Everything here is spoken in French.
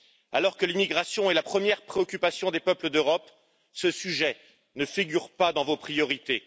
Alors que l'immigration est la première préoccupation des peuples d'Europe, ce sujet ne figure pas dans vos priorités.